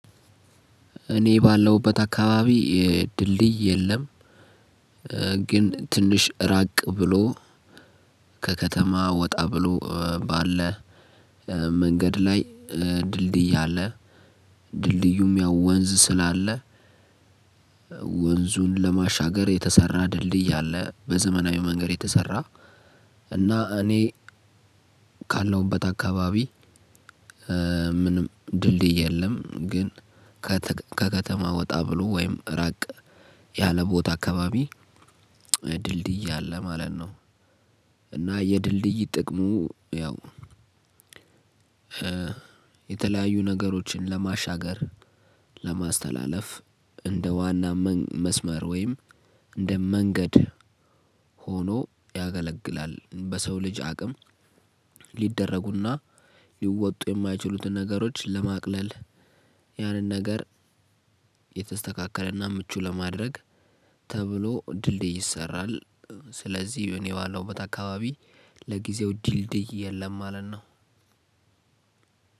እኔ ባለሁበት አካባቢ ድልድይ የለም። ግን ትንሽ ራቅ ብሎ። ከከተማ ወጣ ብሎ ባለ መንገድ ላይ ድልድይ አለ። ድልድዩም ያው ወንዝ ስላለ። ወንዙን ለማሻገር የተሰራ ድልድይ አለ በዘመናዊ መንገድ የተሰራ። እና እኔ ካለሁበት አካባቢ ምንም ድልድይ የለም። ግን ከከተማ ወጣ ብሎ ወይም ራቅ ያለ ቦታ አካባቢ ድልድይ አለ ማለት ነው። እና የድልድይ ጥቅሙ ያው። የተለያዩ ነገሮችን ለማሻገር ለማስተላለፍ እንደ ዋና መስመር ወይም እንደ መንገድ ሆኖ ያገለግላል። በሰው ልጅ አቅም ሊደረጉና ሊወጡ የማይችሉትን ነገሮች ለማቅለል። ያንን ነገር የተስተካከለና ምቹ ለማድረግ ተብሎ ድልድይ ይሰራል። ስለዚህ እኔ ባለሁበት አካባቢ ለጊዜው ድልድይ የለም ማለት ነው።